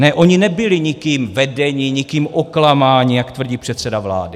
Ne, oni nebyli nikým vedeni, nikým oklamáni, jak tvrdí předseda vlády.